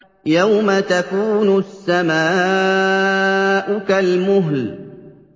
يَوْمَ تَكُونُ السَّمَاءُ كَالْمُهْلِ